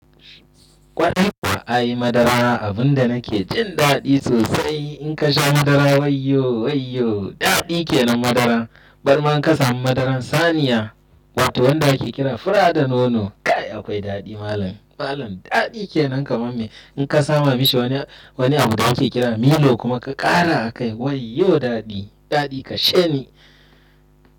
Kwarai kuwa a yi madara abun da nake jin daɗi sosai. In ka sha madara wayyo, wayyo daɗi ke nan madara. Bar ma in ka samu madaran saniya wacce wanda ake kira fura da nono, kai akwai daɗi malam, malam daɗi kenan kamar me. In ka sama mishi wani, wani abu da ake kira milo kuma ka ƙara a kai wayyo daɗi, daɗi kashe ni.